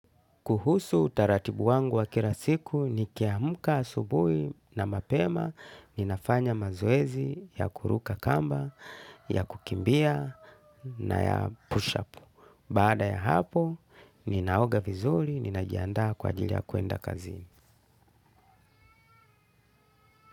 Kuhusu utaratibu wangu wa kira siku nikiamka asubuhi na mapema, ninafanya mazoezi ya kuruka kamba, ya kukimbia na ya push up. Baada ya hapo, ninaoga vizuri, ninajiandaa kwa ajili ya kuenda kazini.